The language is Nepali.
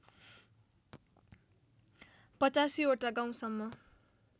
८५ वटा गाउँसम्म